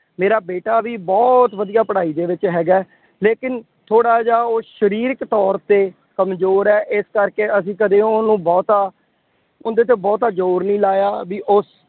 ਮੇਰਾ ਬੇਟਾ ਵੀ ਬਹੁਤ ਵਧੀਆ ਪੜਾਈ ਦੇ ਵਿੱਚ ਹੈਗਾ। ਲੇਕਿਨ ਥੋੜ੍ਹਾ ਜਿਹਾ ਉਹ ਸਰੀਰਕ ਤੌਰ ਤੇ ਕਮਜ਼ੌਰ ਹੈ। ਇਸ ਕਰਕੇ ਅਸੀਂ ਕਦੇ ਉਹਨੂੰ ਬਹੁਤਾ, ਉਹਦੇ ਤੇ ਬਹੁਤਾ ਜ਼ੋਰ ਨਹੀਂ ਲਾਇਆ ਬਈ ਉਸ